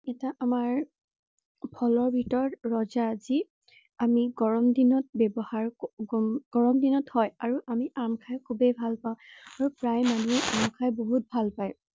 আমাৰ ফলৰ ভিতৰত ৰজা যি আমি গৰম দিনত ব্যৱহাৰ কৰো গৰম দিনত হয়। আৰু আমি আম খাই খুবেই ভাল পাও আৰু প্ৰায় মানুহেই আম খাই বহুত ভাল পায়।